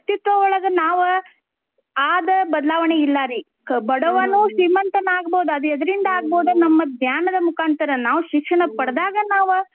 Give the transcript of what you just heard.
ವ್ಯಕ್ತಿತ್ವ ಒಳ್ಗ ನಾವ್ ಆದ್ ಬದ್ಲಾವಣೆ ಇಲ್ಲಾರೀ ಬಡ್ವನೂ ಶ್ರೀಮಂತನಾಗ್ಬೋದ್ ಅದ್ ಎದ್ರಿಂದ ಆಗ್ಬೋದ್ ನಮ್ಮ ಜ್ಞಾನದ ಮುಖಾಂತರಾ ನಾವ್ ಶಿಕ್ಷಣ ಪಡ್ದಾಗ ನಾವ್,